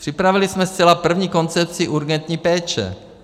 Připravili jsme zcela první koncepci urgentní péče.